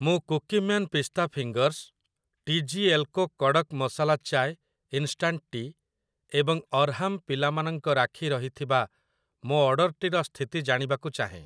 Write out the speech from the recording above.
ମୁଁ Cookieman pista fingers, T G L co kadak masala chai instant tea' ଏବଂ ଅର୍ହାମ୍ ପିଲାମାନଙ୍କ ରାକ୍ଷୀ ରହିଥିବା ମୋ ଅର୍ଡ଼ର୍‌‌ଟିର ସ୍ଥିତି ଜାଣିବାକୁ ଚାହେଁ ।